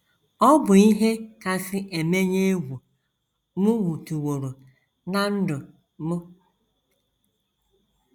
“ Ọ bụ ihe kasị emenye egwu m hụtụworo ná ndụ m.